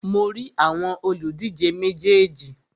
Mo rí àwọn òlùdíje méjèèjì.